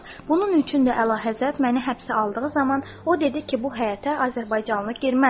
Bunun üçün də əlahəzrət məni həbsə aldığı zaman o dedi ki, bu həyətə azərbaycanlı girməz.